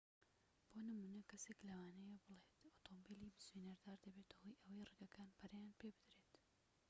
بۆ نمونە کەسێك لەوانەیە بڵێت ئۆتۆمبیلی بزوێنەردار دەبێتە هۆی ئەوەی ڕێگەکان پەرەیان پێبدرێت